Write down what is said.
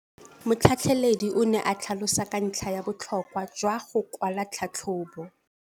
Motlhatlheledi o ne a tlhalosa ka ntlha ya botlhokwa jwa go kwala tlhatlhôbô.